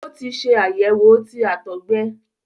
o tí ṣe àyẹwò tí àtọgbẹ